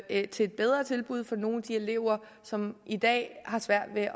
et bedre tilbud for nogle af de elever som i dag har svært ved